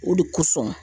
O de kosɔn